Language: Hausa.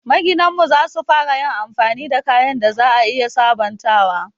Maginan mu za su fara yin amfani da kayan da za a iya sabontawa.